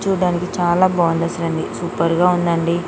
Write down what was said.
చూడడానికి చాలా బాగుంది సూపర్ గా ఉండండి .